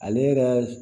Ale yɛrɛ